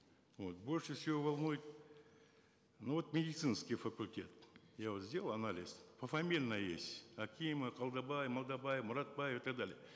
вот больше всего волнует ну вот медицинский факультет я вот сделал анализ пофамильно есть акимов қалдабай малдабай мұратбай и так далее